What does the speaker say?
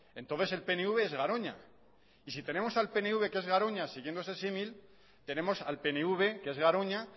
entonces el pnv es garoña y si tenemos al pnv que es garoña siguiendo ese símil tenemos al pnv que es garoña